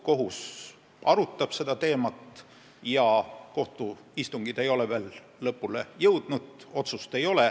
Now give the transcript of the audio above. Kohus arutab seda teemat ja kohtuistungid ei ole veel lõpule jõudnud, otsust ei ole.